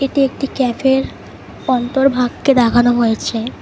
এটি একটি ক্যাফের অন্তর ভাগকে দেখানো হয়েছে।